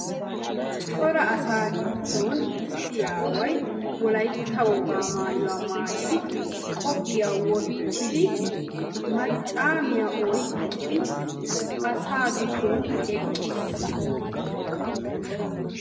Cora asaa giddon issi aaway Wolaytta wogaa maayuwa maayyidi qoophiya wottidi maccamiyaa oyqqidi asaa giddon eqqiis.